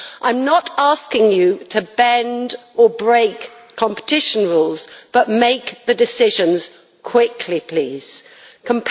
I am not asking you to bend or break competition rules, but rather to make the decisions quickly please, Commissioner.